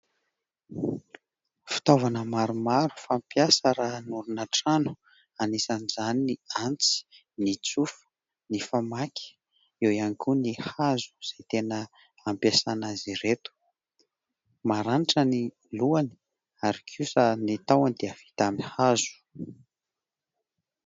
Fitaovana maromaro fampiasa raha hanorina trano anisan'izany ny antsy, ny tsofa, ny famaky eo ihany koa ny hazo izay tena ampiasana azy ireto. Maranitra ny lohany ary kosa ny tahony dia vita amin'ny hazo.